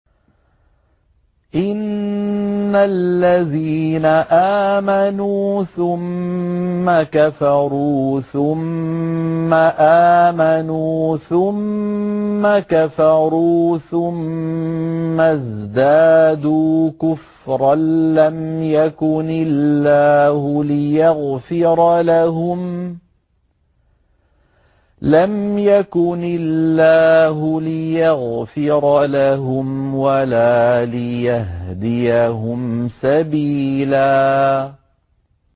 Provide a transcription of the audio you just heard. إِنَّ الَّذِينَ آمَنُوا ثُمَّ كَفَرُوا ثُمَّ آمَنُوا ثُمَّ كَفَرُوا ثُمَّ ازْدَادُوا كُفْرًا لَّمْ يَكُنِ اللَّهُ لِيَغْفِرَ لَهُمْ وَلَا لِيَهْدِيَهُمْ سَبِيلًا